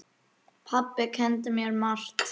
Pabbi kenndi mér margt.